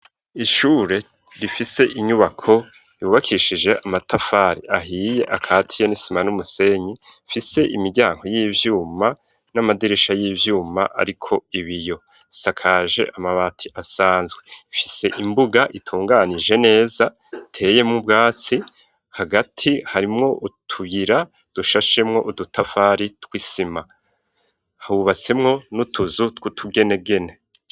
Ishure rifise inyubako ryubakishije amatafari ahiye akatiye n'isima n'umusenyi rifise imiryango y'ivyuma n'amadirisha y'ivyuma ariko ibiyo bisakaje amabati asanzwe afise imbuga itunganije neza iteyemwo ubwatsi hagati harimwo utugira dushashemwo udutafari tw'isima hubatsemwo n'utuzu tw'utugenegene.